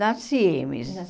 Na Cimes.